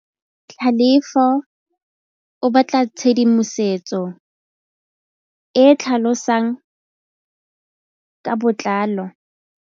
Tlhalefô o batla tshedimosetsô e e tlhalosang ka botlalô.